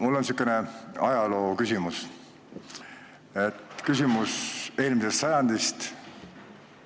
Mul on sihuke ajalooküsimus, küsimus eelmisest sajandist.